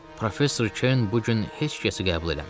Professor Ken bu gün heç kəsi qəbul eləmir.